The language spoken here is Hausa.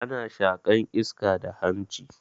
Ana shaƙan iska da hanshi.